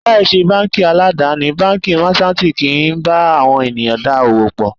Láì ṣe báńkì aládàni, Báńkì Máṣántìì kì ń bá àwọn ènìyàn dá òwò pọ̀.